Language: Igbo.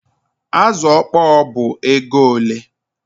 Azụ ọkpọr ọ bụ ego ole?